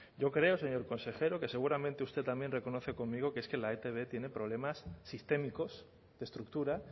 yo creo señor consejero que seguramente usted también reconoce conmigo que es que la etb tiene problemas sistémicos de estructura